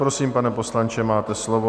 Prosím, pane poslanče, máte slovo.